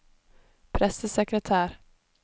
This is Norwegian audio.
pressesekretær